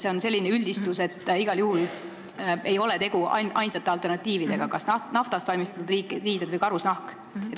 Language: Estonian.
See on selline üldistus, igal juhul ei ole tegu ainsate alternatiividega, kas naftast valmistatud riided või karusnahk.